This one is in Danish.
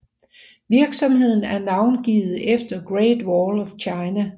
Virksomheden er navngivet efter Great Wall of China